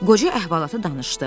Qoca əhvalatı danışdı.